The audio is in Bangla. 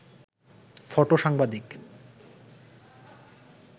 ফটো-সাংবাদিক